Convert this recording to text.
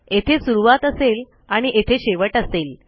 येथे सुरूवात असेल आणि येथे शेवट असेल